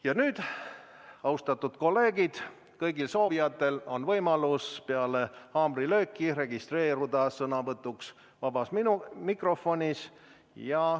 Ja nüüd, austatud kolleegid, on kõigil soovijatel võimalus peale haamrilööki registreeruda sõnavõtuks vabas mikrofonis.